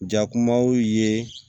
Jakumaw ye